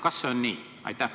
Kas see on nii?